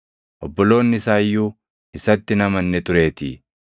Obboloonni isaa iyyuu isatti hin amanne tureetii.